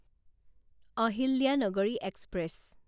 Ahilyanagari express